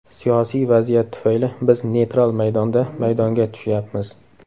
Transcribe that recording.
Siyosiy vaziyat tufayli biz neytral maydonda maydonga tushyapmiz.